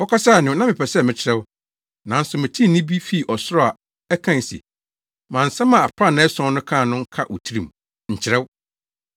Wɔkasae no, na mepɛ sɛ mekyerɛw. Nanso metee nne bi fii ɔsoro a ɛkae se, “Ma nsɛm a aprannaa ason no kaa no nka wo tirim. Nkyerɛw!”